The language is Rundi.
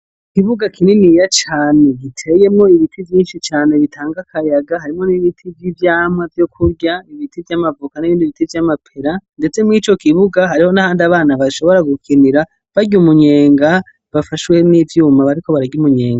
Ikibuga kiniya cane giteyemwo ibiti vyishi cane bitanga akayaga harimwo n'ibiti vy'ivyamwa vyo kurya n'ibiti vy'amavoka n'ibindi biti vyama pera ndetse murico kibuga hariho ahandi abana bashobora gukinira barya umunyenga bafashwe n'ivyuma bariko bararya umunyenga.